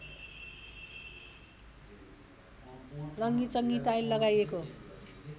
रङ्गिचङ्गि tile लगाइएको